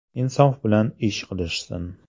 Insof bilan ish qilishsin.